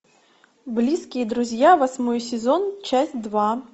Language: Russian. близкие друзья восьмой сезон часть два